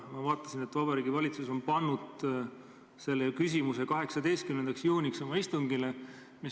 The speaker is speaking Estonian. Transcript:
Ma vaatasin, et Vabariigi Valitsus on pannud selle küsimuse oma 18. juuni istungi päevakorda.